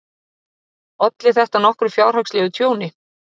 Olli þetta nokkru fjárhagslegu tjóni.